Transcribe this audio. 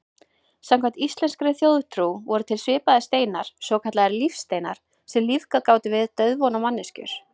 Samkvæmt íslenskri þjóðtrú voru til svipaðir steinar, svokallaðir lífsteinar, sem lífgað gátu við dauðvona manneskjur.